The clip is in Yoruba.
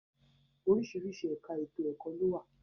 Oríṣiríṣi ẹka ètò-ẹ̀kọ́ lówà.